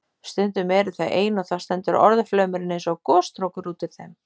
Stundum eru þau ein og þá stendur orðaflaumurinn eins og gosstrókur út úr þeim.